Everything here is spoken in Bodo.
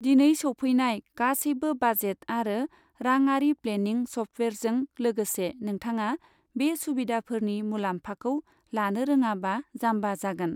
दिनै सौफैनाय गासैबो बाजेट आरो राङारि प्लेनिं सफ्टवेयारजों लोगोसे, नोंथाङा बे सुबिदाफोरनि मुलामफाखौ लानो रोङाबा जाम्बा जागोन।